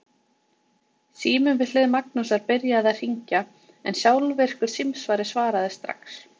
Sími við hlið Magnúsar byrjaði að hringja en sjálfvirkur símsvari svaraði strax.